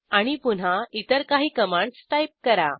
आणि पुन्हा इतर काही कमांडस टाईप करा